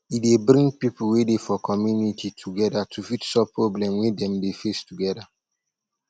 e dey bring pipo wey dey for community together to fit solve problem wey dem dey face together